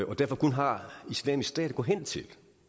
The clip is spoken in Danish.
og derfor kun har islamisk stat at gå hen til